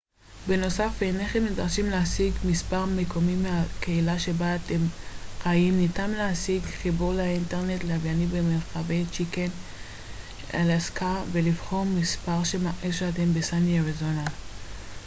בנוסף אינכם נדרשים להשיג מספר מקומי מהקהילה שבה אתם חיים ניתן להשיג חיבור ללאינטרנט לווייני במרחבי צ'יקן אלסקה ולבחור מספר שמראה שאתם בסאני אריזונה